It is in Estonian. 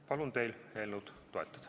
Palun teil eelnõu toetada!